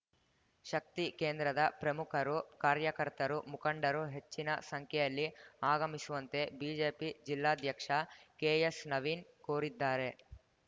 ಶಕ್ತಿ ಕೇಂದ್ರದ ಪ್ರಮುಖರು ಕಾರ್ಯಕರ್ತರು ಮುಖಂಡರು ಹೆಚ್ಚಿನ ಸಂಖ್ಯೆಯಲ್ಲಿ ಆಗಮಿಸುವಂತೆ ಬಿಜೆಪಿ ಜಿಲ್ಲಾಧ್ಯಕ್ಷ ಕೆಎಸ್‌ನವೀನ್‌ ಕೋರಿದ್ದಾರೆ